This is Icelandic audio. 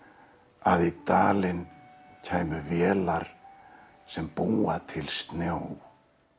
að í dalinn kæmu vélar sem búa til snjó